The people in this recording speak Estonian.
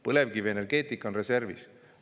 Põlevkivienergeetika on reservis.